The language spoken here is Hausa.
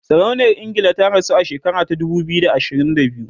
sarauniyar ingila ta rasu a shekara ta dubu biyu da ashirin da biyu